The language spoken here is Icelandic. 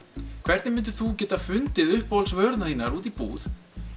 hvernig myndir þú geta fundið uppáhalds vörurnar þínar úti í búð